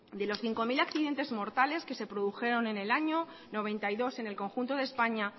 de los cinco mil accidentes mortales que se produjeron en el año mil novecientos noventa y dos en el conjunto de españa